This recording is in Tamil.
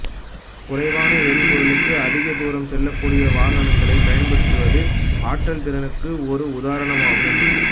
குறைவான எரிபொருளுக்கு அதிக தூரம் செல்லக்கூடிய வாகனங்களை பயன்படுத்துவது ஆற்றல் திறனுக்கு ஒரு உதாரணம் ஆகும்